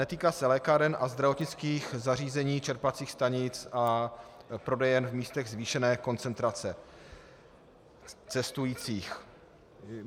Netýká se lékáren a zdravotnických zařízení, čerpacích stanic a prodejen v místech zvýšené koncentrace cestujících.